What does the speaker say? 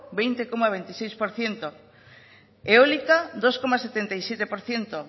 veinte coma veintiséis por ciento eólica dos coma setenta y siete por ciento